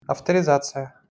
авторизация